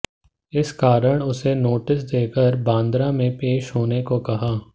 इस कारण उसे नोटिस देकर बांद्रा में पेश होने को कहा